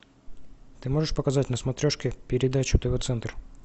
ты можешь показать на смотрешке передачу тв центр